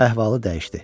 Əhvalı dəyişdi.